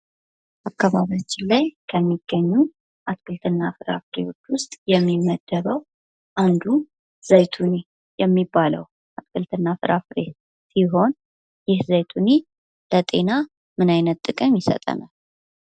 አካባቢያችን ላይ ከሚገኙት አትክልትና ፍራፍሬዎች ውስጥ የሚመደበው አንዱ ዘይቶኒ የሚባለው አትክልትና ፍራፍሬ ሲሆን ይህ ዘይቶኒ ለጤና ምን አይነት ጥቅም ይሰጠናል?